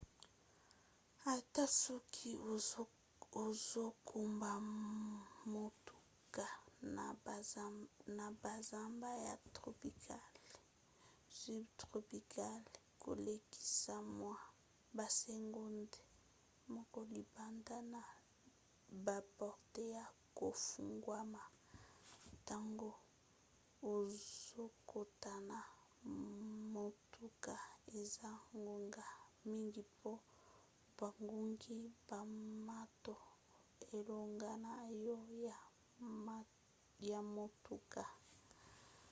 ata soki ozokumba motuka na bazamba ya tropical subtropicale kolekisa mwa basegonde moke libanda na baporte ya kofungwama ntango ozokota na motuka eza ngonga mingi po bangungi bamata elongo na yo na motuka